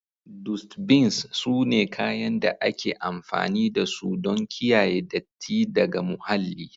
Dustbins sune kayan da ake amfani dasu don kiyaye datti daga muhalli